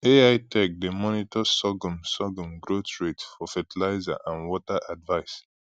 ai tech dey monitor sorghum sorghum growth rate for fertilizer and water advice